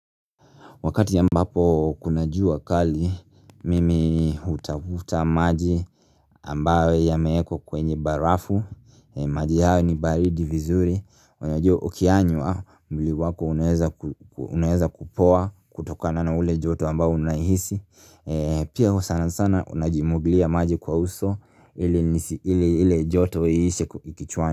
Wakati ambapo kuna jua kali mimi hutafuta maji ambayo yameekwa kwenye barafu maji hayo ni baridi vizuri Unajua ukiyanywa mwili wako unaweza kupoa kutokana na ule joto ambao unahisi Pia sana sana unajimwaglia maji kwa uso ili nisi ili ile joto ishe kichwani.